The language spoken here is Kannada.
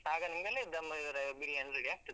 ಆಗ ನೀವ್ ಹೇಳಿದ್ dum ಅಹ್ ಬಿರಿಯಾನಿ ready ಆಗ್ತದೆ.